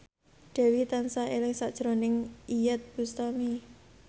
Dewi tansah eling sakjroning Iyeth Bustami